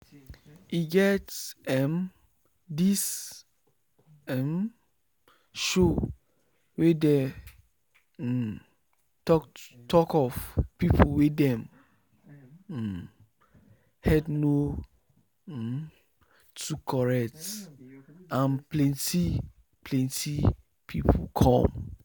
e get emm this emm show wey dey um talk of people wey dem um head no um too correct and plenty plenty people come